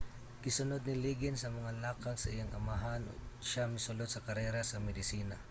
gisunud ni liggins ang mga lakang sa iyang amahan ug siya misulod sa karera sa medisina